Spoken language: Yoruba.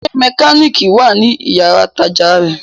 Ṣé mẹkánìkì wà ní yàrá-ìtajà rẹ̀?